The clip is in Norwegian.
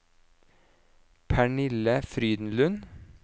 Pernille Frydenlund